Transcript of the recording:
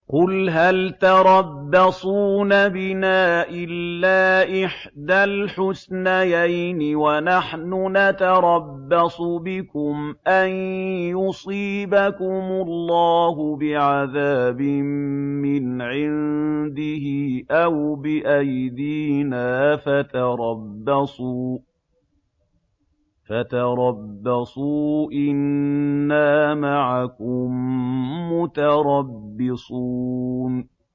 قُلْ هَلْ تَرَبَّصُونَ بِنَا إِلَّا إِحْدَى الْحُسْنَيَيْنِ ۖ وَنَحْنُ نَتَرَبَّصُ بِكُمْ أَن يُصِيبَكُمُ اللَّهُ بِعَذَابٍ مِّنْ عِندِهِ أَوْ بِأَيْدِينَا ۖ فَتَرَبَّصُوا إِنَّا مَعَكُم مُّتَرَبِّصُونَ